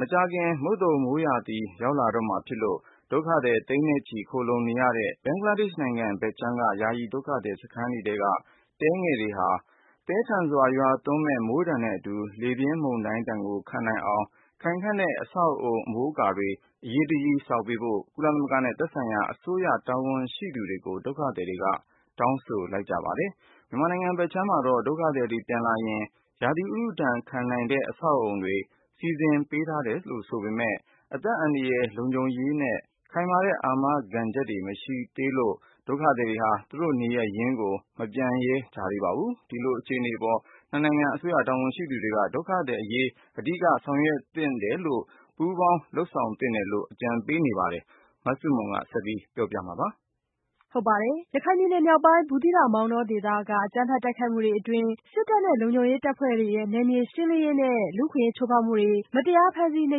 မကြာခင်မုတ်သုံမိုးရာသီရောက်ရှိလာတော့မှာဖြစ်လို့ ဒုက္ခသည်သိန်းနဲ့ချီ ခိုလှုံနေရတဲ့ ဘင်္ဂလားဒေ့ရှ်နိုင်ငံဘက်ခြမ်းက ယာယီ ဒုက္ခသည်စခန်းတွေထဲက တဲလေးတွေ မိုးသည်းထန်စွာရွာသွန်းမှုနဲ့ လေပြင်းမုန်တိုင်းဒဏ်ခံနိုင်အောင် ခိုင်ခံတဲ့အဆောက်အဦးတွေ အမိုး အကာတွေ အရေးတကြီးဆောက်ပေးဖို့ ကုလသမဂ္ဂနဲ့ သက်ဆိုင်ရာအစိုးရတာဝန်ရှိသူတွေကို ဒုက္ခသည်တွေက တောင်းဆိုလိုက်ပါတယ်။ မြန်မာနိုင်ငံဘက်ခြမ်းမှာတော့ ဒုက္ခသည်တွေပြန်လာရင် ရာသီဥတုဒဏ်ခံနိုင်တဲ့အဆောက်အဦးတွေ စီစဉ်ပေးထားတယ်ဆိုပေမဲ့ အသက်အန္တရာယ်လုံခြုံရေးနဲ့ ခိုင်မာတဲ့အာမခံချက်တွေ မရရှိလို့ ဒုက္ခသည်တွေက သူတို့နေရပ်ရင်းမပြန်ရဲကြသေးပါဘူး။ ဒီလိုအခြေအနေအပေါ် နှစ်နိုင်ငံအစိုးရတာဝန်ရှိသူတွေအတွက် ဒုက္ခသည်တွေအရေး အဓိကဆောင်ရွက်သင့်တာတွေကို ပူးပေါင်းလုပ်ဆောင်သင့်တယ်လို့လည်း အကြံပေးမှုတွေရှိပါတယ်။ မဆုမွန် ဆက်ပြောပြပါမယ်။ ရခိုင်ပြည်နယ်မြောက်ပိုင်း ဘူးသီးတောင်၊ မောင်တောဒေသက အကြမ်းဖက်တိုက်ခိုက်မှုတွေအတွင်း စစ်တပ်နဲ့ လုံခြုံရေးတပ်ဖွဲ့တွေရဲ့ နယ်မြေရှင်းလင်းရေးနဲ့ လူအခွင့်အရေးချိုးဖောက်မှုတွေနဲ့ မတရားဖမ်းဆီးနှိ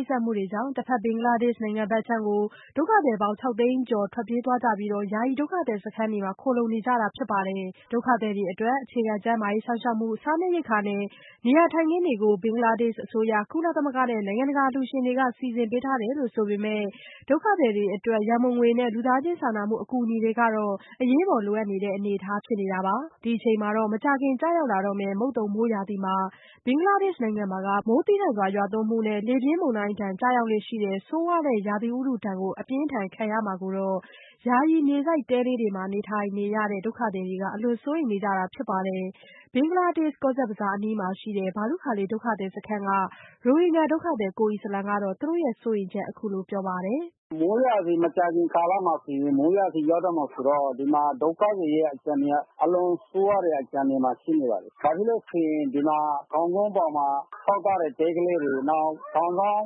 ပ်စက်မှုတွေကြောင့် တဘက်ဘင်္ဂလားဒေ့ရှ်နိုင်ငံဘက်ခြမ်းကို ဒုက္ခသည်ပေါင်းခြောက်သိန်းကျော် ထွက်ပြေးသွားကြပြီး ယာယီဒုက္ခသည်စခန်းတွေမှာ ခိုလှုံနေကြတာဖြစ်ပါတယ်။ ဒုက္ခသည်တွေအတွက် အခြေခံကျန်းမာရေးစောင့်ရှောက်မှု၊ စားနပ်ရိက္ခာနဲ့ နေရာထိုင်ခင်းတွေကို ဘင်္ဂလားဒေ့ရှ်အစိုးရ၊ ကုလသမဂ္ဂ နဲ့ နိုင်ငံတကာအလှူရှင်တွေက စီစဉ်ပေးထားတယ်လို့ဆိုပေမဲ့ ဒုက္ခသည်အတွက် ရန်ပုံငွေနဲ့ လူသားချင်းစာနာမှုအကူညီတွေကတော့ အရေးပေါ်လိုအပ်နေတဲ့ အနေအထားဖြစ်နေတာပါ။ ဒီအခြေအနေမှာတော့ မကြာခင်ကျရောက်လာတေ့ာ့မယ့် မုတ်သုံမိုးရာသီမှာ ဘင်္ဂလားဒေ့ရှ်နိုင်ငံမှာက မိုးသည်းထန်စွာရွာသွန်းမှုနဲ့ လေပြင်းမုန်တိုင်းဒဏ်ကျရောက်လေ့ရှိတဲ့ ဆိုးဝါးလှတဲ့ ရာသီဥတုဒဏ်တွေကို အပြင်းအထန်ခံရမှာကိုတော့ ယာယီမြေစိုက်တဲလေးတွေမှာ နေထိုင်နေရတဲ့ ဒုက္ခသည်တွေက အလွန်စိုးရိမ်နေကြတာဖြစ်ပါတယ်။ ဘင်္ဂလားဒေ့ရှ် ကော့ဇက်ဘဇားအနီးမှာရှိတဲ့ ဘာလုခါလီဒုက္ခသည်စခန်းက ရိုဟင်ဂျာဒုက္ခသည်ကိုအီစလံက သူတို့ရဲ့စိုးရိမ်ချက်ကို အခုလိုပြောပြပါတယ်။ "မိုးရာသီရောက်တော့မှာဆိုတော့ ဒီမှာဒုက္ခသည်တွေရဲ့အခြေအနေက အားလုံး စိုးရိမ်ရတဲ့အခြေအနေမှာ ရှိနေပါတယ်။ တောင်ကုန်းပေါ်မှာ ဆောက်ထားတဲ့ တဲကလေးတွေ နောက်တောင်စောင်း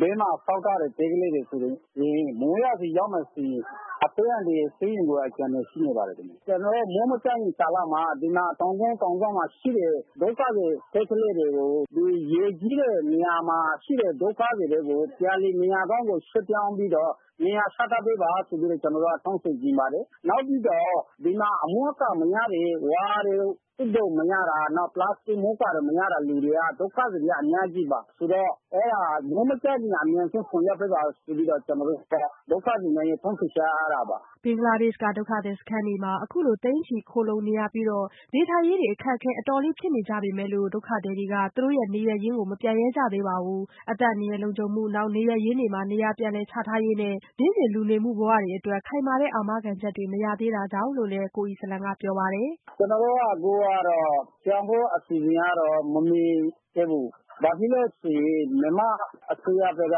ဘေးမှာ ဆောက်ထားတဲ့ တဲကလေးတွေဆိုရင် မိုးရာသီရောက်တော့မယ်ဆိုရင် အသက်အန္တရာယ်တောင်စိုးရိမ်ရတဲ့အခြေအနေမှာ ရှိနေပါတယ်။ ဒီမှာ မိုးမကျမီကာလမှာ တောင်ကုန်းတောင်စောင်းတွေမှာရှိတဲ့ ဒုက္ခသည်တွေကို မြေပြန့်မှာရှိတဲ့ ဒုက္ခသည်စခန်းတွေကို ပြန်လည်နေရာချထားပေးပါလို့ တောင်းဆိုချင်ပါတယ်။ နောက်ပြီးတော့ ဒီမှာအမိုးအကာမရတဲ့ ဝါးတို့ သွပ်တို့ မရတဲ့ဒုက္ခသည်အရေအတွက်တွေက အများကြီးပါ။ ဆိုတော့ မိုးမကျခင်အဲဒါတွေအမြန်ဆုံးလုပ်ပေးပါလို့ ဒုက္ခသည်တွေရဲ့ တောင်းဆိုချက်တွေက အဲဒါတွေပါ။" ဘင်္ဂလားဒေ့ရှ်ကဒုက္ခသည်စခန်းတွေမှာ အခုလိုသိန်းချီခိုလှုံနေရပြီး နေထိုင်ရေးအခက်အခဲဖြစ်နေကြပေမဲ့လို့ ဒုက္ခသည်တွေကတော့ သူတို့ရဲ့နေရပ်ရင်းကို မပြန်ရဲကြသေးပါဘူး။ အသက်အန္တရာယ်လုံခြုံမှု နောက် နေရပ်ရင်းတွေမှာ နေရာပြန်လည်ချထားရေးနဲ့ နေ့စဉ်လူမှုဘဝတွေအတွက် ခိုင်မာတဲ့အာမခံချက်တွေ မရသေးတာကြောင့်လို့လည်း ကိုအီစလံကပြောပါတယ်။ "ကျနော်တို့ကတော့ ပြန်ဖို့အစီအစဉ်ကတော့ မမြင်သေးဘူး ဘာဖြစ်လို့ဆိုရင် မြန်မာအစိုးရဘက်က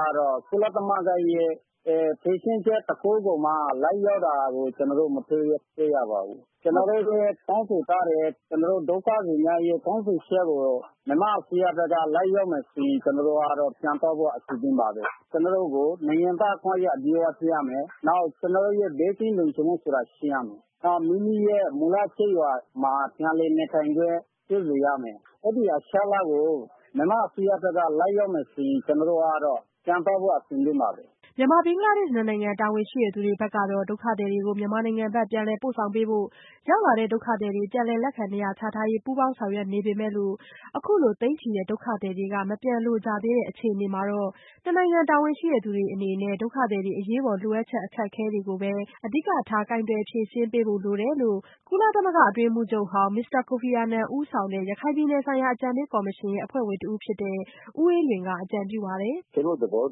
တော့ ကုလသမဂ္ဂ ရဲ့ ဖြေရှင်းချက်တခုကိုမှ လိုက်လျောတာ ကျနော်တို့ မတွေ့ရသေးပါဘူး။ ကျနော်တို့လည်း တောင်းဆိုထားတယ် ဒုက္ခသည်များရဲ့ တောင်းဆိုချက်ကို လိုက်လောမယ်ဆိုရင် ကျနော်တို့ဘက်ကတော့ ပြန်ဖို့အဆင်သင့်ပါပဲ။ ကျနော်တို့ကို နိုင်ငံသားအခွင့်အရေးအပြည့်အဝပေးရမယ်။ နောက်ဘေးကင်းလုံခြုံမှုဆိုတာကို ပေးရမယ်။ နောက်ပြီးတော့ မူလကျေးရွာမှာ ပြန်လည်နေထိုင်ခွင့်ပေးရမယ်။ အဲဒီအချက်အလက်ကို မြန်မာအစိုးရဘက်က လိုက်လျောမယ်ဆိုရင် ကျနော်တို့ဘက်ကတော့ ပြန်ဖို့အဆင်သင့်ပါပဲ။" မြန်မာ-ဘင်္ဂလားဒေ့ရှ်နှစ်နိုင်ငံတာဝန်ရှိသူတွေဘက်က မြန်မာနိုင်ငံဘက်ကို ပြန်လည်ပို့ဆောင်ပေးဖို့နဲ့ ပြန်လည်လက်ခံ နေရာချထားရေးတွေကို ပူးပေါင်းဆောင်ရွက်နေပေမဲ့လို့ အခုလို သိန်းချီတဲ့ဒုက္ခသည်တွေကလည်း မပြန်လိုကြသေးအခြေအနေမှာတော့ နှစ်နိုင်ငံတာဝန်ရှိသူတွေအနေနဲ့ ဒုက္ခသည်တွေ အရေးပေါ်လိုအပ်ချက်အခက်အခဲတွေကိုပဲ အဓိကထားကိုင်တွယ်ဖြေရှင်းပေးဖို့လိုတယ်လို့ ကုလသမဂ္ဂ အတွင်းရေးမှူးချုပ်ဟောင်း မစ္စတာကိုဖီအာနန် ဦးဆောင်တဲ့ ရခိုင်ပြည်နယ်ဆိုင်ရာ အကြံပေးကော်မရှင် အဖွဲ့ဝင်တဦးဖြစ်တဲ့ ဦးအေးလွင်က အကြံပြုပါတယ်။ "ကျနော်တို့ သဘော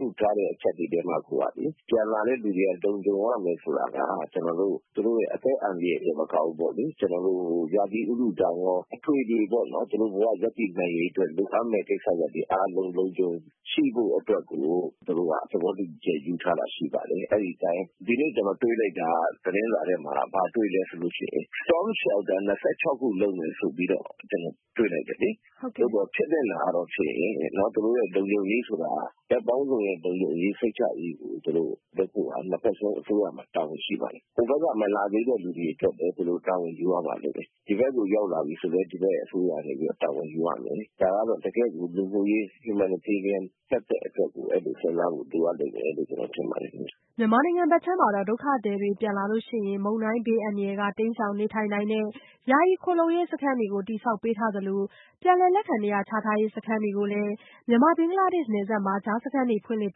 တူထားတဲ့အချက်တွေမှာကိုက ပြန်လာတဲ့လူတွေအတွက် လုံခြုံရမယ်ဆိုတာက အသက်အန္တရယ်တင်မကဘူး ရာသီဥတုဒဏ်ရော သူတို့ဘ၀ ရပ်တည်နိုင်ရေးအတွက် သွားရမယ့်ကိစ္စတွေလုံလုံခြုံခြုံရှိဖို့အတွက်ကို ကျနော်တို့ သဘောတူညီမှုယူထားတာရှိပါတယ်။ ဒီကနေ့ကျနော်တွေ့လိုက်တာ သတင်းစာထဲမှာ ဘာတွေ့လိုက်သလဲဆိုရင် storm shelters ၂၆ ခုလုပ်မယ်ဆိုပြီးတော့ တွေ့လိုက်တယ်လေ။ ဖြစ်သင့်တာကတော့ သူတို့လုံခြုံရေးဆိုတာက ဘက်ပေါင်းစုံလုံခြုံစိတ်ချရေးကို လုပ်ဖို့ ၂ ဖက်စလုံးအစိုးရမှာ တာဝန်ရှိပါတယ်။ ဟိုဘက်က မလာချင်သေးတဲ့လူတွေအတွက် တာဝန်ယူရပါလိမ့်မယ်။ ဒီဘက်ကိုရောက်လာပြီဆိုရင် အစိုးရအနေနဲ့ တာဝန်ယူရမယ်။ ဒါကတော့ တကယ့်ကို Humanitarian သပ်သပ်အတွက်ကို တကယ်စဉ်းစားဖို့လိုမယ်လို့ ကျနော်ထင်ပါတယ်။" မြန်မာနိုင်ငံဘက်ခြမ်းမှာတော့ ဒုက္ခသည်တွေ ပြန်လာရင် နေထိုင်နိုင်ဖို့ ဒုက္ခသည်တွေအတွက် မုန်တိုင်းဘေးအန္တရာယ်ကနေ တိမ်းရှောင်နေထိုင်နိုင်တဲ့ ယာယီခိုလှုံရေးစခန်းတွေ တည်ဆောက်ပေးထားသလို ပြန်လည်လက်ခံနေရာချထားရေးစခန်းတွေကိုလည်း မြန်မာ-ဘဂ်လားဒေ့ရှ်နယ်စပ်မှာ ကြားစခန်းသုံးခုဖွင့်လှစ်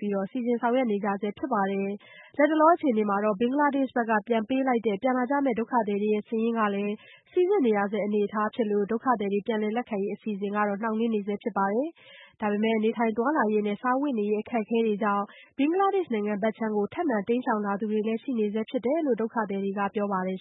ပြီး စီစဉ်ဆောင်ရွက်နေကြဆဲဖြစ်ပါတယ်။ လတ်တလောအခြေအနေမှာတော့ ဘင်္ဂလားဒေ့ရှ်ဘက်ကပြန်ပေးလိုက်တဲ့ ပြန်လာကြမယ့်ဒုက္ခသည်စာရင်းတွေမှာလည်း စိစစ်နေရဆဲအနေအထားဖြစ်လို့ ဒုက္ခသည်တွေပြန်လည်လက်ခံရေးအစီအစဉ်ကလည်း နှောင့်နှေးနေဆဲဖြစ်ပြီး နေထိုင်သွားလာရေးနဲ့ စားဝတ်နေရေးအခက်အခဲတွေကြောင့် ဘင်္ဂလားဒေ့ရှ်ဘက်ခြမ်းကို ထပ်မံတိမ်းရှောင်လာသူတွေလည်း ရှိနေဆဲဖြစ်တယ်လို့ ဒုက္ခသည်တွေကပြောပါတယ်